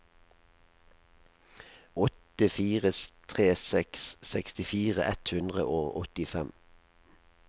åtte fire tre seks sekstifire ett hundre og åttifem